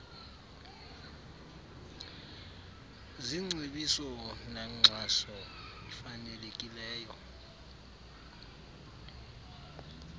zingcebiso nankxaso ifanelekileyo